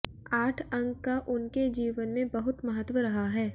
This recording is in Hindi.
आठ अंक का उनके जीवन में बहुत महत्व रहा है